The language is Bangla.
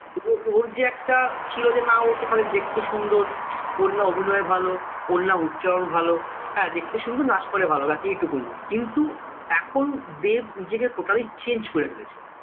ও ওর যে একটা ছিল যে না ওতো খালি দেখতে সুন্দর ওর না অভিনয় ভালো ওর না উচ্চারণ ভালো হ্যাঁ দেখতে সুন্দর নাচ করে ভালো ব্যাস এই টুকুনি কিন্তু এখন দেব নিজেকে totally change করে ফেলেছে